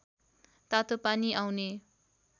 तातोपानी आउने